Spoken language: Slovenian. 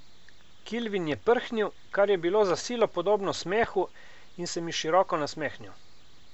Kilvin je prhnil, kar je bilo za silo podobno smehu, in se mi široko nasmehnil.